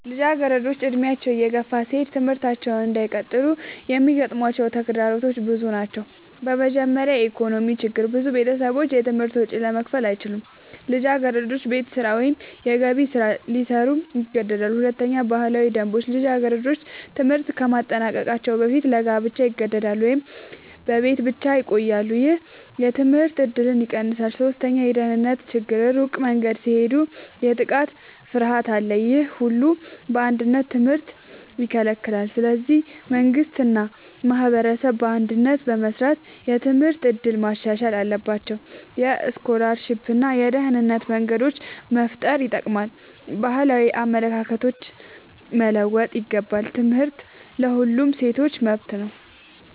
ልጃገረዶች ዕድሜያቸው እየገፋ ሲሄድ ትምህርታቸውን እንዳይቀጥሉ የሚያጋጥሟቸው ተግዳሮቶች ብዙ ናቸው። በመጀመሪያ የኢኮኖሚ ችግር ብዙ ቤተሰቦች የትምህርት ወጪ ለመክፈል አይችሉም። ልጃገረዶች ቤት ስራ ወይም የገቢ ስራ ሊሰሩ ይገደዳሉ። ሁለተኛ ባህላዊ ደንቦች ልጃገረዶች ትምህርት ከማጠናቀቅ በፊት ለጋብቻ ይገደዳሉ ወይም በቤት ብቻ ይቆያሉ። ይህ የትምህርት እድልን ይቀንሳል። ሶስተኛ የደህንነት ችግር ሩቅ መንገድ ሲሄዱ የጥቃት ፍርሃት አለ። ይህ ሁሉ በአንድነት ትምህርትን ይከለክላል። ስለዚህ መንግሥት እና ማህበረሰብ በአንድነት በመስራት የትምህርት እድል ማሻሻል አለባቸው። የስኮላርሺፕ እና የደህንነት መንገዶች መፍጠር ይጠቅማል። ባህላዊ አመለካከቶች መለወጥ ይገባል። ትምህርት ለሁሉም ሴቶች መብት ነው።